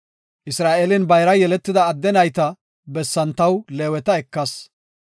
Isra7eelen bayra yeletida adde nayta bessan taw Leeweta ekas.